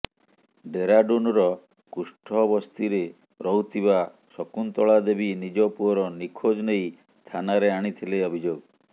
ଡ଼େରାଡ଼ୁନର କୁଷ୍ଠ ବସ୍ତିରେ ରହୁଥିବା ଶକୁନ୍ତଳାଦେବୀ ନିଜ ପୂଅର ନିଖୋଜ ନେଇ ଥାନାରେ ଆଣିଥିଲେ ଅଭିଯୋଗ